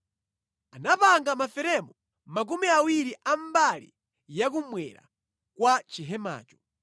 Anapanga maferemu makumi awiri a mbali yakummwera kwa chihemacho,